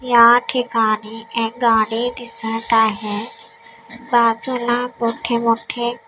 या ठिकाणी एक गाडी दिसत आहे बाजूला मोठे मोठे--